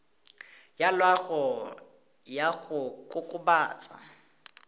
ya loago ya go kokobatsa